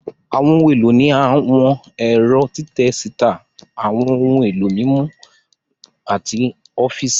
Àwọn ohun èlò ní àwọn ẹ̀rọ́ títẹ síta, àwọn ohun èlò mímú, àti àwọn ọfíìsì